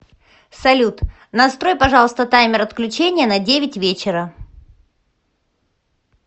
салют настрой пожалуйста таймер отключения на девять вечера